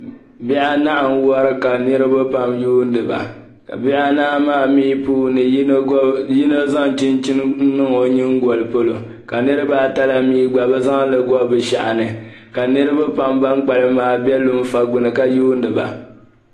Bihi anahi n-wari ka niriba yuuni ba ka bihi anahi maa mi puuni yino zaŋ chinchini n-niŋ o nyiŋgoli polo ka niriba ata la mi gba bɛ zaŋ li gɔbi bɛ shɛhi ni ka niriba pam ban kpalim maa be lunfa gbini ka yuundi ba.